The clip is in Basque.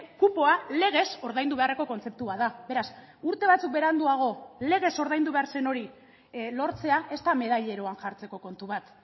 kupoa legez ordaindu beharreko kontzeptua da beraz urte batzuk beranduago legez ordaindu behar zen hori lortzea ez da medalleroan jartzeko kontu bat